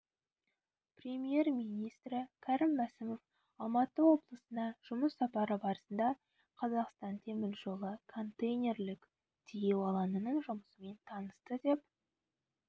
премьер-министрі кәрім мәсімов алматы облысына жұмыс сапары барысында қазақстан темір жолы контейнерлік-тиеу алаңының жұмысымен танысты деп